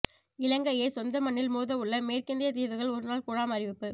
இலங்கையை சொந்த மண்ணில் மோதவுள்ள மேற்கிந்திய தீவுகள் ஒருநாள் குழாம் அறிவிப்பு